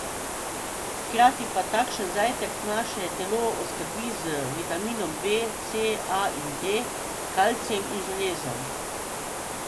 Hkrati pa takšen zajtrk naše telo oskrbi z vitamini B, C, A in D, kalcijem in železom.